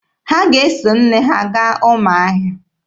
Ha ga-eso nne ha gaa Ụmụahịa?